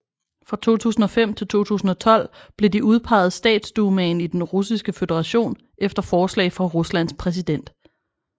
Fra 2005 til 2012 blev de udpeget Statsdumaen i Den Russiske Føderation efter forslag fra Ruslands præsident